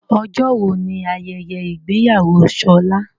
Ọjọ́ wo ni ayẹyẹ ìgbéyàwó Ṣọlá?